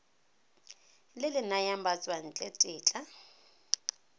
le le nayang batswantle tetla